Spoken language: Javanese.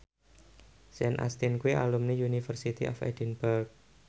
Sean Astin kuwi alumni University of Edinburgh